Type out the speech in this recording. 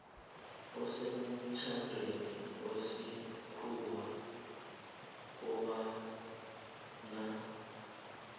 osemtjhadweni wesikhuwa kobana